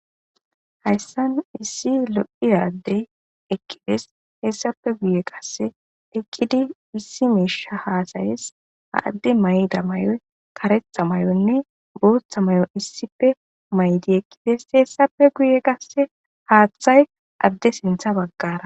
Hayssan issi lo'iaddey ekkides hessafe guye qasse ekkidi issi miisha haasayes ha adde mayda may'oy karetha may'onne bootha mayo issife maydi ekkides hessafe guye qasse haaththay adde sintha baggara